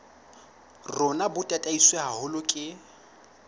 rona bo tataiswe haholo ke